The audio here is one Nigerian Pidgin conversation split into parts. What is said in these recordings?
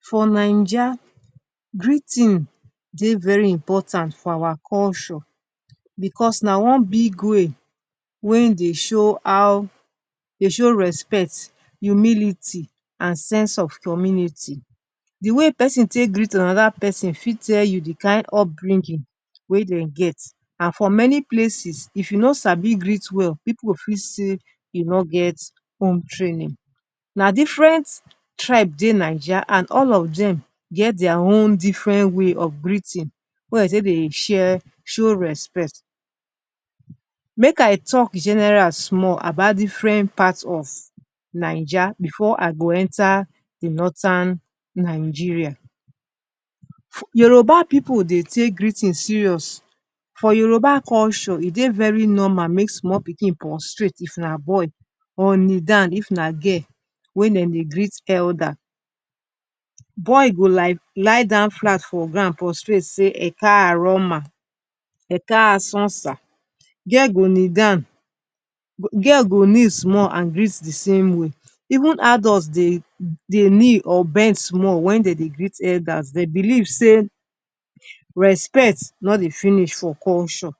For naija greeting dey very important for our culture bicos na one big way wey dey show how, de show respect humility and sense of community. Di way pesin take greet anoda pesin fit tell you di kain upbringing wey dem get and for many places if you no sabi greet well pipu go fit say you no get home training. Na diffren tribe dey naija and all of dem get dia own diffren way of greeting wey be say de dey share, show respect. Make i talk general small about diffren part of naija bifor i go enta di nordin Nigeria. Yoruba pipu dey take greeting serious, for yoruba culture e dey very normal make small pikin prostrate if na boy or kneel down if na girl wey dem dey greet elder, boy go like lie down flat for ground prostrate say Ekaro ma’ Ekasun sir’, girl go kneel down, girl go kneel small greet di same way, even adults dey kneel or bend small wen dem dey greet elders, dey believe say respect no dey finish for culture.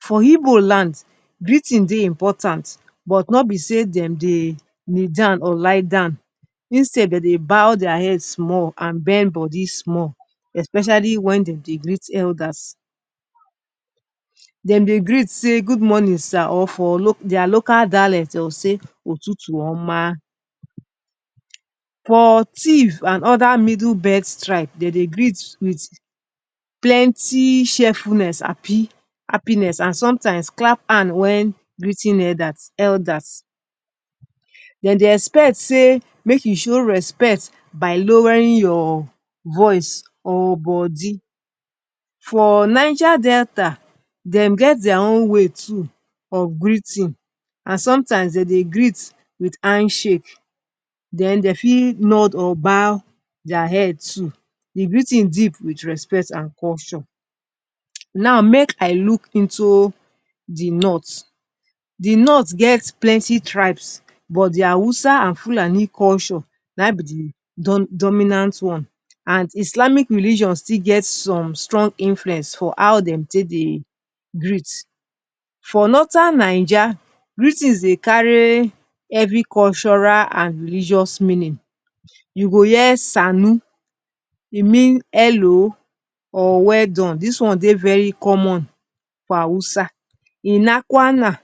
For igbo land greeting dey important but no be say dem dey kneel down or lie down, instead dem dey bow dia head small and bend bodi small especially wen dem dey greet elders. Dem dey greet say good morning sir or for dia local dialet dey go say, Otutu-oma. For Tiv and oda middle belt tribes dem dey greet wit plenty cheerfulness, happiness and somtimes clap hand wen greeting elders. Dem dey expect say make you show respect by lowering your voice or body. For Niger Delta dem get dia own way too of greeting and somtimes dem dey greet wit handshake den dem fit nod or bow dia head too. Di greeting deep wit respect and culture. Now make I look into di north. Di north get plenty tribes but di hausa and fulani culture na im be di dominant one and islamic religion still get some strong influence for how dem take dey greet. For nordirn naija greetings dey carry evri cultural and religious meaning you go hear ‘sannu’ e mean hello or weldone, dis one dey very common for hausa, ‘Ina kwana’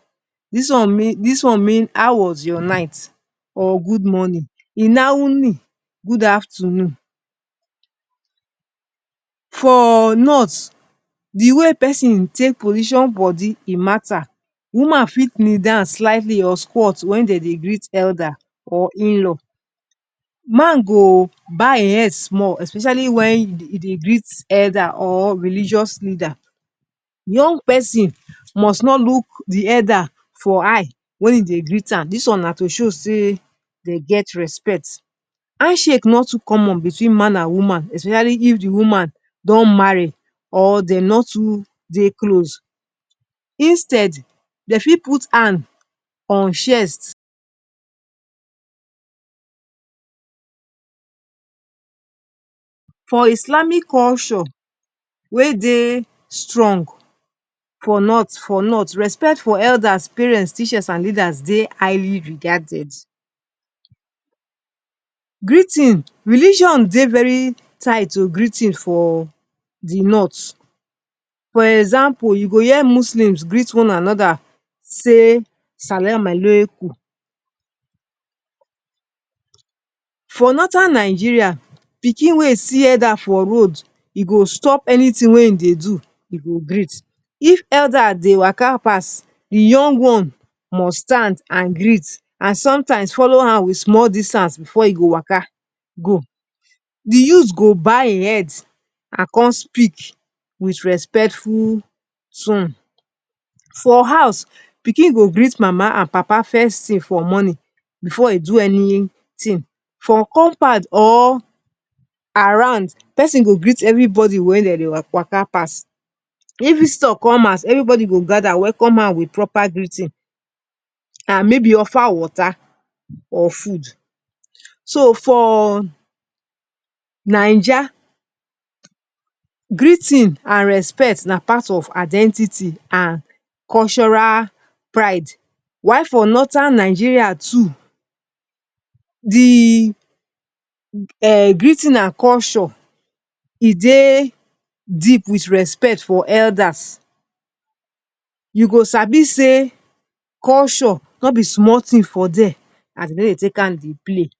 dis one mean, dis one mean how was your night or good morning, ‘Ina wuni’ good afternoon. For North, di way pesin take position body e matta. Woman fit kneel down slightly or squad wen dem dey greet elder or inlaw, man go bow im head small especially wen e dey greet elder or religious leader, young pesin must not look di elder for eye wey e dey greet am dis one na to show say dem get respect. Handshake no too common between man and woman especially if di woman don marry or dem no too dey close instead dem fit put hand on chest. For islamic culture wey dey strong for north, respect for elders, parents, teachers, and leaders dey highly regarded. Greeting, religion dey very tight to greeting for di north. For example, you go hear muslims greet one anoda say ‘salam-alaikum’. For nordin Nigeria, pikin wey e see elder for road e go stop anytin wey e dey do, e go greet. If elder dey waka pass di young one must stand and greet and somtimes follow am wit small distance bifor e go waka go. Di youth go bow a head and come speak wit respectful tone. For house pikin go greet mama and papa first tin for morning bifor e do anytin from compound or around, pesin go greet evribody wey dem dey waka pass. If visitor come house, evribody go gada welcome am wit proper greeting, and maybe offer water or food. So, for naija, greeting and respect na part of identity and cultural pride why for nordin nigeria too di greeting and culture e dey deep wit respect for elders you go sabi say culture no be small tin for dire as dem no dey take am dey play.